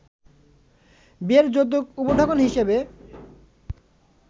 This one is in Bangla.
বিয়ের যৌতুক উপঢৌকন হিসেবে